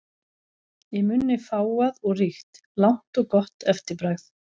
Í munni fágað og ríkt, langt og gott eftirbragð.